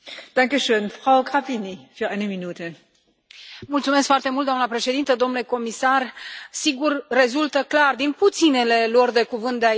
Doamnă președintă, domnule comisar, sigur, rezultă clar din puținele luări de cuvânt de aici, pentru că e păcat că suntem puțini, că trebuie făcut ceva.